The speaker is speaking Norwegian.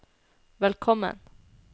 velkommen